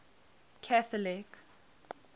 catholic